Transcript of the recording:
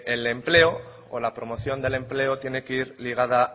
el empleo o la promoción del empleo tiene que ir ligada